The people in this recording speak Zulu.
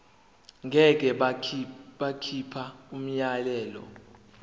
ngeke bakhipha umyalelo